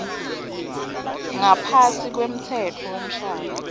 ngaphasi kwemtsetfo wemshado